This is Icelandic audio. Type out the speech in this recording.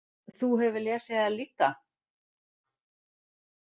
Þú hefur lesið þær líka?